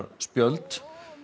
spjöld